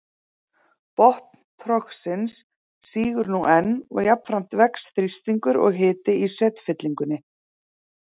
Botn trogsins sígur nú enn og jafnframt vex þrýstingur og hiti í setfyllingunni.